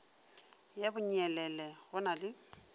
ya bonyelele go na le